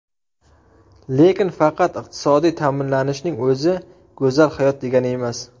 Lekin faqat iqtisodiy ta’minlanishning o‘zi go‘zal hayot degani emas.